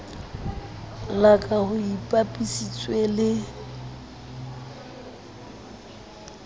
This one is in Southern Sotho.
la ka ho ipapisitswe le